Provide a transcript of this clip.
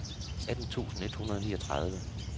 atten tusind et hundrede og niogtredive